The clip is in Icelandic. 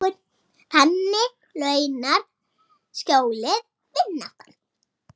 Og á maga hans stendur þetta: Munkur, láttu ekki fylli magans leiða þig afvega.